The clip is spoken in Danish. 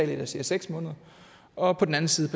der siger seks måneder og på den anden side